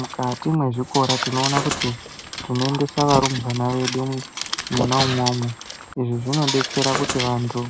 Mukati mwezvikora tinoona kuti tinoendesa varumbwana vedu mwona imwomwo. Izvi zvinodetsera kuti vantu